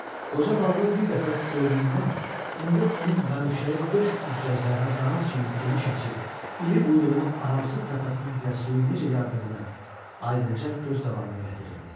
Qoca balığı bir dəfə gördüyündən indi onun bənövşəyi döş üzgəclərini qanad kimi geniş açıb, iri quyruğunu aramsız tərpətməklə suyu necə yardığını aydınca göz qabağına gətirirdi.